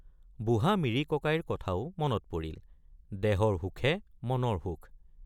বুঢ়া মিৰি ককাইৰ কথাও মনত পৰিল দেহৰ হুখে মনৰ হুখ।